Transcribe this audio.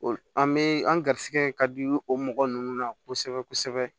An bɛ an ga garisɛgɛ ka di o mɔgɔ ninnu na kosɛbɛ kosɛbɛ